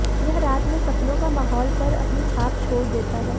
यह रात में सपनों का माहौल पर अपनी छाप छोड़ देता है